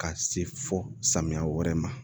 Ka se fɔ samiya wɛrɛ ma